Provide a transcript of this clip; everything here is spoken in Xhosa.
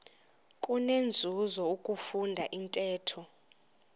kunenzuzo ukufunda intetho